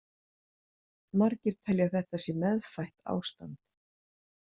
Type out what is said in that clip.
Margir telja að þetta sé meðfætt ástand.